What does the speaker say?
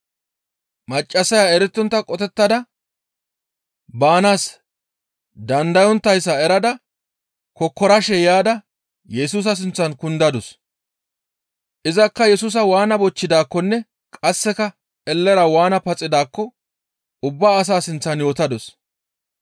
Maccassaya erettontta qotettada baanaas dandayonttayssa erada kokkorashe yaada Yesusa sinththan kundadus; izakka Yesusa waana bochchidaakkonne qasseka ellera waana paxidaakko ubba asaa sinththan yootadus.